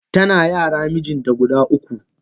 Tana yara mijinta guda uku.